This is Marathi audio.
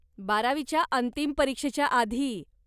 बारावीच्या अंतिम परीक्षेच्या आधी.